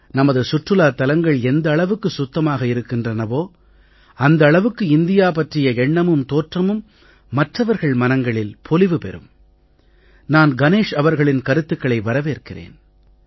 நமது சுற்றுலாத் தலங்கள் எந்த அளவுக்கு சுத்தமாக இருக்கின்றனவோ அந்த அளவுக்கு இந்தியா பற்றிய எண்ணமும் தோற்றமும் மற்றவர்கள் மனங்களில் பொலிவு பெறும் நான் கணேஷ் அவர்களின் கருத்துக்களை வரவேற்கிறேன்